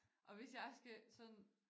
Og hvis jeg skal sådan